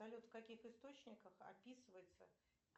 салют в каких источниках описывается